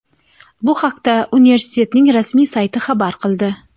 Bu haqda universitetning rasmiy sayti xabar qildi.